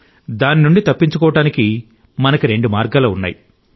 దాని నుండి తప్పించుకోవడానికి మనకు రెండు మార్గాలు ఉన్నాయి